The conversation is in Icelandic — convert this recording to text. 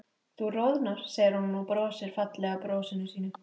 Þú roðnar, segir hún og brosir fallega brosinu sínu.